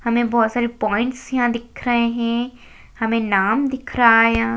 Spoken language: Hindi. हमें यहाँ बहोत सारे पॉइंट दिख रहे है हमें नाम दिख रहा है यहाँ